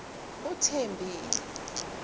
uthembi